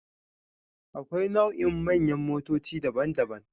Akwai nau'ikan manyan motoci daban-daban.